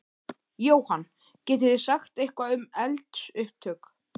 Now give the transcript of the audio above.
Jóhann: Getið þið sagt eitthvað um eldsupptök?